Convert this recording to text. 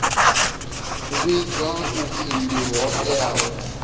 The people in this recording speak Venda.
vhidzwa u pfi ndi hoea